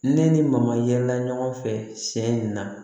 Ne ni mamaya yɛlɛla ɲɔgɔn fɛ tiɲɛ in na